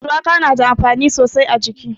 Shuwaka na da amfani sosai a jiki.